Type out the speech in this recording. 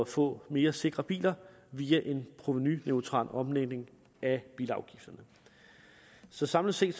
få mere sikre biler via en provenuneutral omlægning af bilafgifterne så samlet set